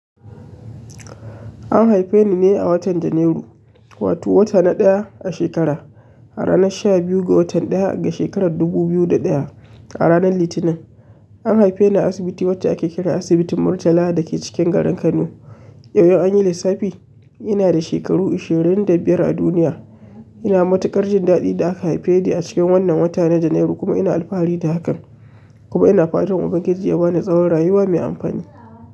An haife ni ne a watan Janairu, wato wata na ɗaya a shekara, a ranar sha biyu ga watan ɗaya ga shekarar dubu biyu da ɗaya a ranar Litinin. An haife ni a asibiti wacce ake kira Asibitin Murtala da ke cikin garin Kano. Yau an yi lissafi ina da shekaru ashirin da biyar a duniya. Ina matuƙar jin daɗin da aka haife ni a cikin wannan watan na Janairu kuma ina alfahari da hakan, kuma ina fatan Ubangiji ya ba ni tsawon rayuwa mai amfani.